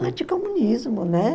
anticomunismo, né?